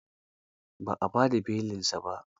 Ba a ba da belinsa ba.